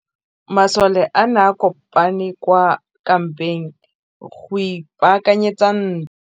Masole a ne a kopane kwa kampeng go ipaakanyetsa ntwa.